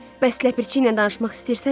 Bəs ləpirçi ilə danışmaq istəyirsənmi?